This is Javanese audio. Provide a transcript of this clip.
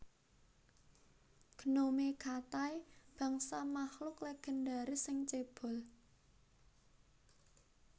Gnome Katai bangsa makhluk legendaris sing cébol